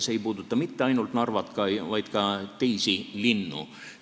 See ei puuduta mitte ainult Narvat, vaid ka teisi linnu.